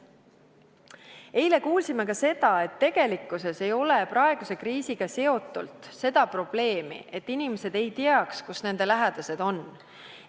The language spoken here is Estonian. Eile kuulsime ka seda, et tegelikkuses ei ole praeguses kriisis seda probleemi, et inimesed ei tea, kus nende lähedased on.